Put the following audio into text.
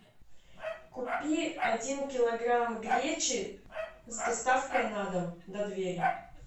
купи один килограмм гречи с доставкой на дом до двери